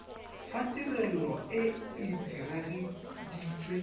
fa tirelo e e diragaditswe